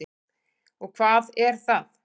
Og hvað er það?